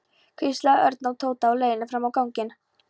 hvíslaði Örn að Tóta á leiðinni fram á ganginn.